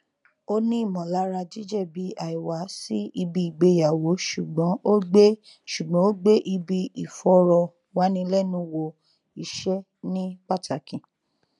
ó ní ìmọlara jíjẹbi àìwá sí ibi ìgbéyàwó ṣùgbọn ó gbé ṣùgbọn ó gbé ibi ìfọrọwánilẹnuwò iṣẹ ní pátàkì